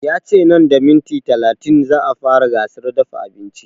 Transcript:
Ya ce nan da minti talatin za a fara gasar dafa abinci